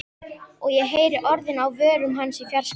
Og ég heyri orðin á vörum hans í fjarska.